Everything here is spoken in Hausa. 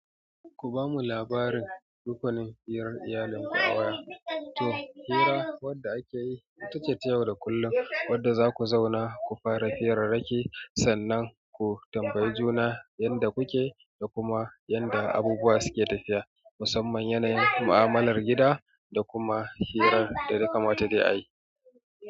Ku ba mu labarin rukunin hirar iyalin ku a waya to, hira wadda ake yi ita ce ta yau da kullum wadda za ku zauna ku fara hirarraki sannan ku tambayi juna yanda kuke da kuma yanda abubuwa suke tafiya musamman yanayin mu'amalar gida da kuma hirar da yakamata dai ayi.